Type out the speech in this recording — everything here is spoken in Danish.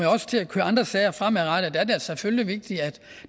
også til at køre andre sager fremadrettet er det selvfølgelig vigtigt at